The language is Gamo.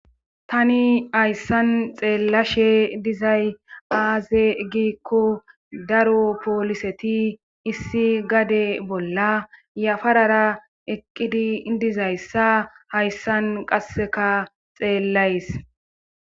Tani hayssan xeellashe dizay aaze giikko daro pooliseti issi gade bolla yafarara eqqidi diza issa hayssan qasseka xeellays.